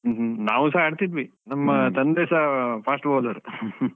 ಹ್ಮ್ ಹ್ಮ್ ಹ್ಮ್. ನಾವುಸ ಆಡ್ತಿದ್ವಿ ನಮ್ಮ ತಂದೆಸಾ fast bowler .